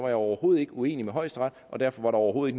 jeg overhovedet ikke uenig med højesteret og derfor var der overhovedet